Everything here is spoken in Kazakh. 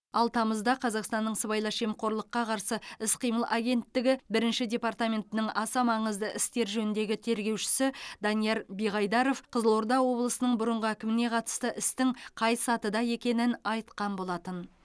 ал тамызда қазақстанның сыбайлас жемқорлыққа қарсы іс қимыл агенттігі бірінші департаментінің аса маңызды істер жөніндегі тергеушісі данияр биғайдаров қызылорда облысының бұрынғы әкіміне қатысты істің қай сатыда екенін айтқан болатын